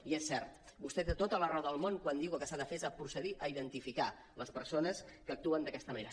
i és cert vostè té tota la raó del món quan diu que el que s’ha de fer és procedir a identificar les persones que actuen d’aquesta manera